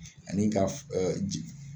Ani ka ee jigin.